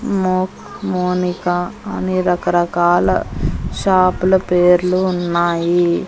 మో మోనిక అని రకరకాల షాపు ల పేర్లు ఉన్నాయి.